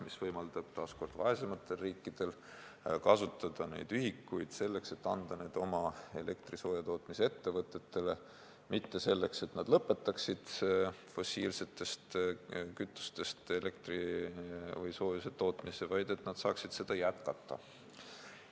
See võimaldab vaesematel riikidel kasutada ühikuid selleks, et anda need oma elektri- ja soojatootmise ettevõtetele: mitte selleks, et nad lõpetaksid fossiilsetest kütustest elektri või soojuse tootmise, vaid selleks, et nad saaksid seda jätkata.